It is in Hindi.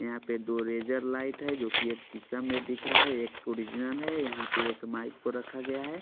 यहाँ पे दो रेजर लाइट है जोकि एक शीशा में दिख रहा है एक ओरिजनल है यहाँ पे एक माइक पे रखा गया है।